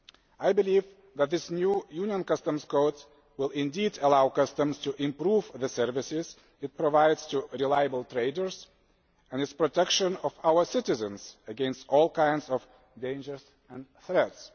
I believe that this new Union Customs Code will indeed allow customs to improve the services it provides to reliable traders and its protection of our citizens against all kinds of dangers and threats.